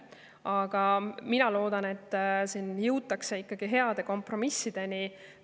Aga mina loodan, et jõutakse siiski heade kompromissideni.